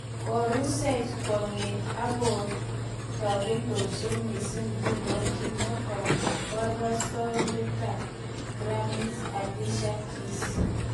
"Korusech kwong'et akearagondosi miising nguno,"kimwa kaborostoindetab Grammys Alicia Keys.